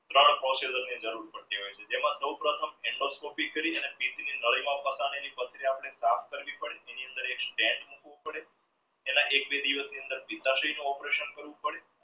જરૂર પડતી હોય છે જેમાં સવપ્રથમ endoscopy કરી એની અંદર એક stand એના એક બે દિવસની અંદર operation કરવું પડે